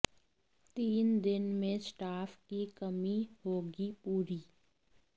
तीन दिन में स्टाफ की कमी होगी पूरी